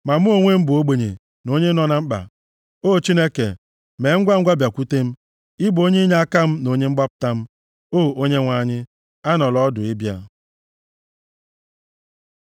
Ma mụ onwe m bụ ogbenye na onye nọ na mkpa; O Chineke, mee ngwangwa bịakwute m. Ị bụ onye inyeaka m na onye mgbapụta m; O Onyenwe anyị, anọla ọdụ ịbịa.